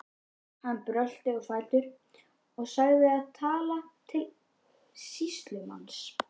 Hann brölti á fætur og sagði og talaði til sýslumanns